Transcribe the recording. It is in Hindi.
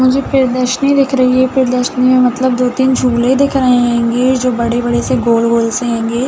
मुझे प्रदर्शनी दिख रही है। प्रदर्शनी में मतलब दो तीन झूले दिख रहे हेंगे जो बड़े-बड़े से गोल-गोल से हेंगे ।